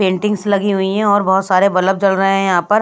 paintings लगी हुई है और बहुत सारे बलब जल रहे हैं यहाँ पर--